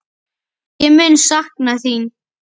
Ég mun sakna þín!